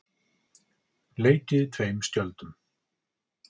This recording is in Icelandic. Leikið tveim skjöldum